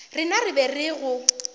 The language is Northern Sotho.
rena re be re go